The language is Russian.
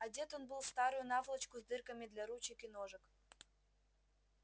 одет он был в старую наволочку с дырками для ручек и ножек